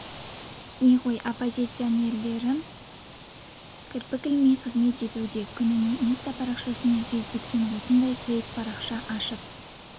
не ғой оппозиционерлерім кірпік ілмей қызмет етуде күніне инста парақшасы мен фк-тен осындай фейк парақша ашып